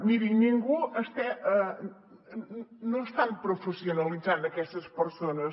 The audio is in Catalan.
miri ningú no està professionalitzant aquestes persones